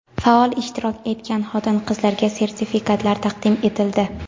faol ishtirok etgan xotin-qizlarga sertifikatlar taqdim etildi.